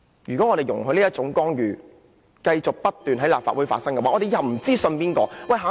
如果我們容許這種干預繼續不斷在立法會出現，我們日後便不知道該相信誰。